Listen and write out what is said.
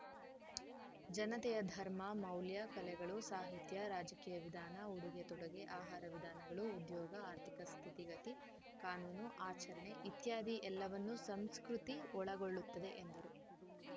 ಜನತೆಯ ಧರ್ಮ ಮೌಲ್ಯ ಕಲೆಗಳು ಸಾಹಿತ್ಯ ರಾಜಕೀಯ ವಿಧಾನ ಉಡುಗೆ ತೊಡುಗೆ ಆಹಾರ ವಿಧಾನಗಳು ಉದ್ಯೋಗ ಆರ್ಥಿಕ ಸ್ಥಿತಿಗತಿ ಕಾನೂನು ಆಚರಣೆ ಇತ್ಯಾದಿ ಎಲ್ಲವನ್ನೂ ಸಂಸ್ಕೃತಿ ಒಳಗೊಳ್ಳುತ್ತದೆ ಎಂದರು